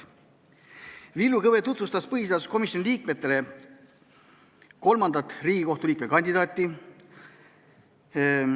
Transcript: Villu Kõve tutvustas põhiseaduskomisjoni liikmetele kolmandat Riigikohtu liikme kandidaati.